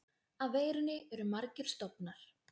Af veirunni eru margir stofnar.